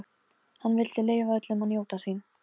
Hann vildi leyfa öllum að njóta sín.